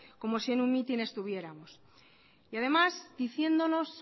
como si en un mitin estuviéramos y además diciéndonos